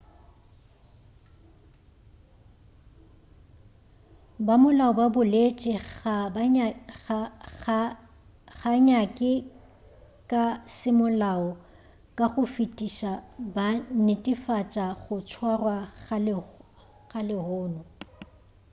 bamolao ba boletše ga nnyake ka semolao ka go fetiša ba netefatša go tswarwa ga lehono